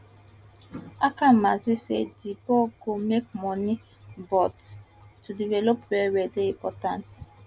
akamanzi say di bal go make money but to delevop wellwell dey important